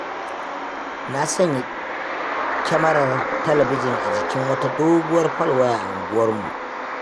Na sanya kyamarar talabijin a jikin wata doguwar falwaya a unguwarmu.